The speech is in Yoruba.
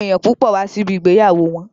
Àwọn èèyàn púpọ̀ wá sí ibi ìgbéyàwó wọn